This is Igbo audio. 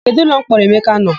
Kedụ ụlọmkpọrọ Emeka nọ?